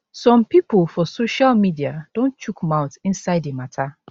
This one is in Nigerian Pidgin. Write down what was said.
some pipo for social media don chook mouth inside di mata